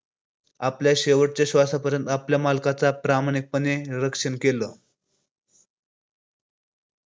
आपल्या शेवटच्या श्वासापर्यंत आपल्या मालकाचा प्रामाणिकपणे रक्षण केल.